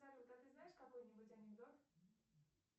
салют а ты знаешь какой нибудь анекдот